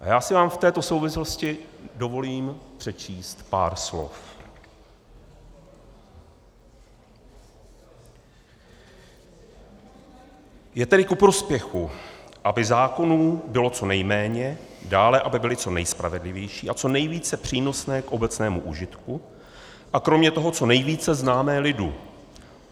A já si vám v této souvislosti dovolím přečíst pár slov: Je tedy ku prospěchu, aby zákonů bylo co nejméně, dále aby byly co nejspravedlivější a co nejvíce přínosné k obecnému užitku a kromě toho co nejvíce známé lidu.